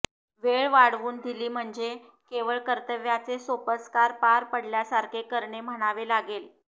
वेळ वाढवून दिली म्हणजे केवळ कर्तव्याचे सोपस्कार पार पडल्यासारखे करणे म्हणावे लागेल